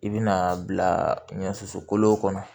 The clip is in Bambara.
I bi na bila ɲɔso kolo kɔnɔ